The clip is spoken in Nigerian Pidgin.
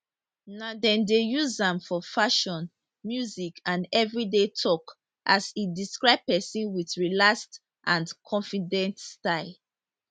now dem dey use am for fashion music and everyday tok as e describe pesin wit relaxed and confident style